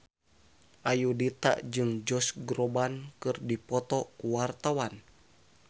Ayudhita jeung Josh Groban keur dipoto ku wartawan